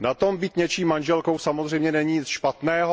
Na tom být něčí manželkou samozřejmě není nic špatného.